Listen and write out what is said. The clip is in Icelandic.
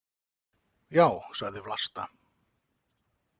Já, sagði Vlasta.